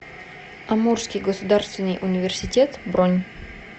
амурский государственный университет бронь